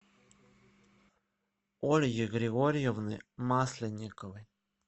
ольги григорьевны масленниковой